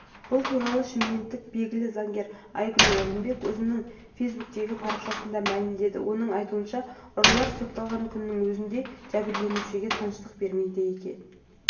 бұл туралы шымкенттік белгілі заңгер айгүл орынбек өзінің фейсбуктегі парақшасында мәлімдеді оның айтуынша ұрылар сотталған күннің өзінде жәбірленушілерге тыныштық бермейді екен